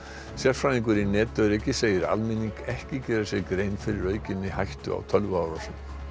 sérfræðingur í netöryggi segir almenning ekki gera sér grein fyrir aukinni hættu á tölvuárásum